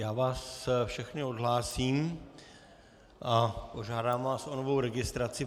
Já vás všechny odhlásím a požádám vás o novou registraci.